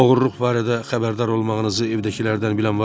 Oğurluq barədə xəbərdar olmağınızı evdəkilərdən bilən varmı?